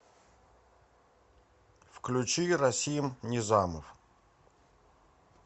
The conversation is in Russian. включи расим низамов